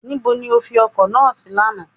Nibo ni o fi ọkọ́ náà sí lánàá